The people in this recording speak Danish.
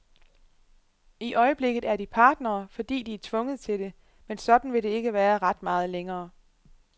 I øjeblikket er de partnere, fordi de er tvunget til det, men sådan vil det ikke være ret meget længere.